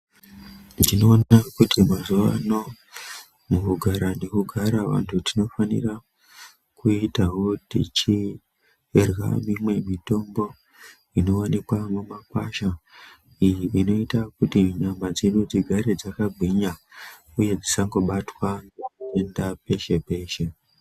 Tinoona kuti mazuwa ano mukugara nekugara vanhu tinofanirwa kuitawo tichirya mitombo iyo inoonekwa mumakwasha iyo inoita kuti nyama dzedu dzigare dzakakagwinya tisangobatwa nezvitenda peshe peshe.